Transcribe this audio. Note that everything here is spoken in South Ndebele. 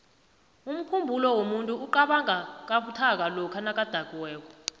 umkhumbulo womuntu iqabanga kabuthaka lokha nakadakiweko